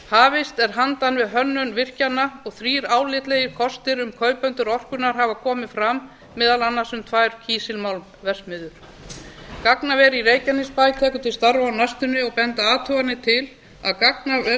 hafist ár handa við hönnun virkjana og þrír álitlegir kostir um kaupendur orkunnar hafa komið fram meðal annars um tvær kísilmálmverksmiðjur gagnaver í reykjanesbæ tekur til starfa á næstunni og benda athuganir til að